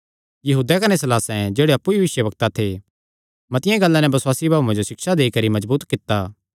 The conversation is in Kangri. यहूदैं कने सीलासें जेह्ड़े अप्पु भी भविष्यवक्ता थे मतिआं गल्लां नैं बसुआसी भाऊआं जो सिक्षा देई करी मजबूत कित्ता